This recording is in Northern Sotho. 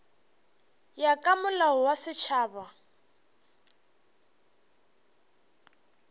ya ka molao wa setšhaba